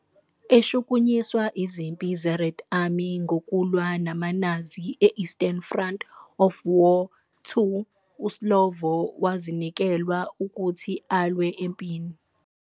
Eshukunyiswa izimpi zeRed Army ngokulwa namaNazi e-Eastern Front of War II, uSlovo wazinikelwa ukuthi alwe empini.